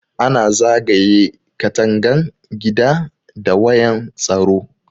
Ana zagaye katangan gida da wayan tsaro.